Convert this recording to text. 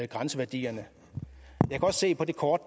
grænseværdierne jeg kan godt se på det kort